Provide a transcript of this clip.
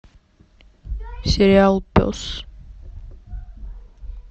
сериал пес